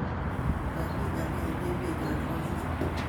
Mami ngala eng emenyoo nebo kenya